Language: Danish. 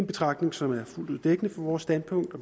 betragtning som er fuldt ud dækkende for vores standpunkt og